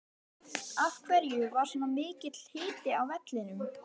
Af hverju var svona mikill hiti á vellinum?